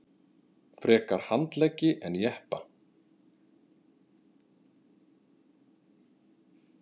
Frekar handleggi en jeppa